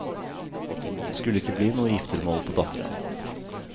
Det skulle ikke bli noe giftermål på datteren.